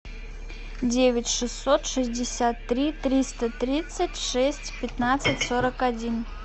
девять шестьсот шестьдесят три триста тридцать шесть пятнадцать сорок один